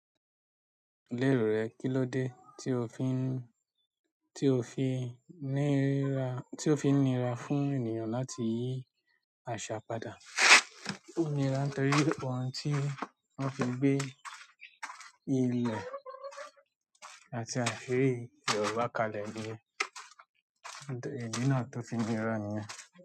Lérò rẹ, kilódé ti o fi n tí ó fi ń ní ra fún ènìyàn láti yí àṣà padà? Ó nira nítorí ohun tí wọ́n fi gbé ilẹ̀ àti àfé Yorùbá kalẹ̀ ni. Ìdí náà tó fi nira nìyẹn.